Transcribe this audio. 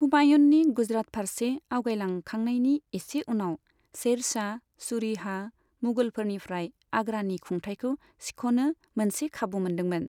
हुमायूननि गुजरात फारसे आवगायलांखांनायनि एसे उनाव, शेरशाह सूरीहा मुगलफोरनिफ्राय आग्रानि खुंथायखौ सिख'नो मोनसे खाबु मोनदोंमोन।